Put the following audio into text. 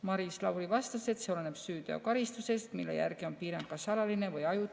Maris Lauri vastas, et see oleneb süüteokaristusest, mille järgi on piirang kas alaline või ajutine.